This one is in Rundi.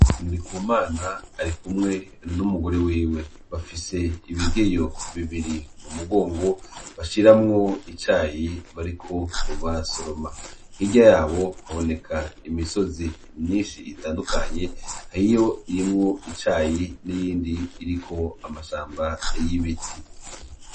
Nri ku mana ari kumwe n'umugore wiwe bafise ibigeyo bibiri mu mugongo bashiramwo icayi bariko ubara soroma hirya yabo baboneka imisozi myinshi itandukanye hahiyo irimwo icayi n'iyindi iriko amashamba yibiti.